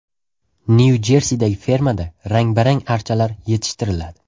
Nyu-Jersidagi fermada rang-barang archalar yetishtiriladi .